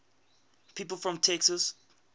people from texas